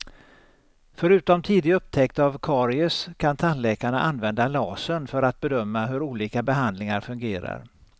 Förutom tidig upptäckt av karies kan tandläkarna använda lasern för att bedöma hur olika behandlingar fungerar.